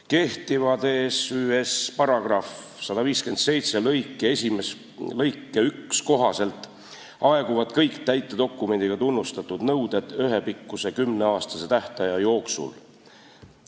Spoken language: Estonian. Kehtiva TsÜS-i § 157 lõike 1 kohaselt aeguvad kõik täitedokumendiga tunnustatud nõuded ühepikkuse kümneaastase tähtaja jooksul.